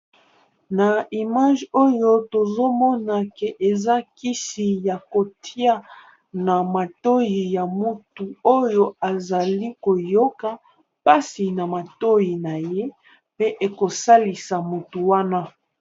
Na image Oyo tozomona eza Kisi Yako tiya na matoyi Oyo mutuo azoyoka pasi na matoyi naye